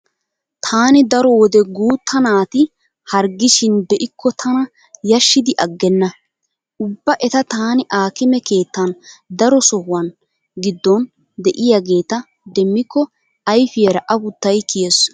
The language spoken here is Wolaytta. Taani daro wode guutta naati harggishin be'ikko tana yashshidiaggenna. Ubba eta taani aakime keettan daro sahuwa giddon diyageeta demmikko ayfiyara afuttay kiyees.